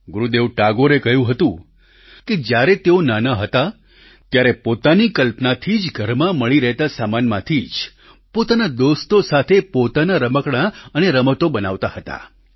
ગુરુદેવ ટાગોરે કહ્યું હતું કે જ્યારે તેઓ નાનાં હતાં ત્યારે પોતાની કલ્પનાથી જ ઘરમાં મળી રહેતાં સામાનમાંથી જ પોતાના દોસ્તો સાથે પોતાના રમકડાં અને રમતો બનાવતા હતા